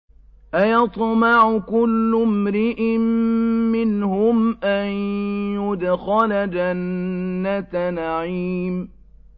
أَيَطْمَعُ كُلُّ امْرِئٍ مِّنْهُمْ أَن يُدْخَلَ جَنَّةَ نَعِيمٍ